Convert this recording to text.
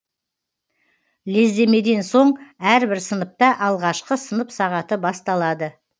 лездемеден соң әрбір сыныпта алғашқы сынып сағаты басталады